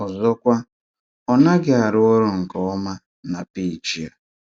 Ọ̀zọ́kwa, ọ naghị arụ́ ọrụ̀ nke ọ́mà na pẹ́ejì a.